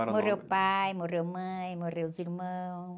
Morreu pai, morreu mãe, morreu os irmãos.